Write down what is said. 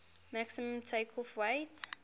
maximum takeoff weight